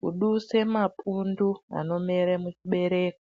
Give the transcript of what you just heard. kuduse mapundu anomere muchibereko.